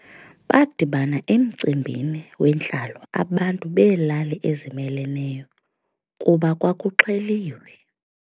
Badibana emcimbini wentlalo abantu beelali ezimeleneyo kuba kwakuxheliwe.